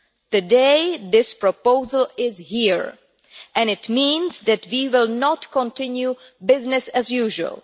Today that proposal is here and it means that we will not continue business as usual.